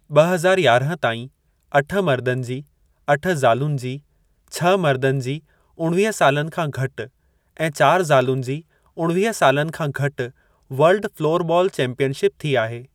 ॿ हज़ार यारहं ताईं, अठ मर्दनि जी, अठ ज़ालुनि जी, छह मर्दनि जी उणवीह सालनि खां घटि, ऐं चारि ज़ालुनि जी उणवीह सालनि खां घटि वर्ल्ड फ़लोरबॉल चैम्पियनशिप थी आहे।